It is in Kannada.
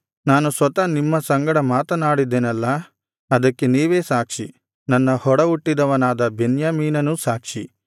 ನಾನು ಸ್ವತಃ ನಿಮ್ಮ ಸಂಗಡ ಮಾತನಾಡಿದ್ದೆನಲ್ಲಾ ಅದಕ್ಕೆ ನೀವೇ ಸಾಕ್ಷಿ ನನ್ನ ಒಡಹುಟ್ಟಿದವನಾದ ಬೆನ್ಯಾಮೀನನೂ ಸಾಕ್ಷಿ